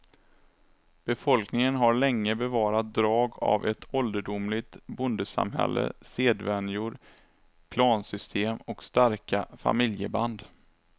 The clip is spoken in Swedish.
Befolkningen har länge bevarat drag av ett ålderdomligt bondesamhälles sedvänjor, klansystem och starka familjeband.